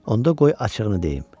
Onda qoy açığını deyim.